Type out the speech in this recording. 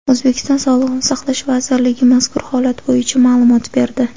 O‘zbekiston Sog‘liqni saqlash vazirligi mazkur holat bo‘yicha ma’lumot berdi .